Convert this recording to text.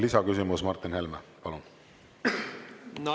Lisaküsimus, Martin Helme, palun!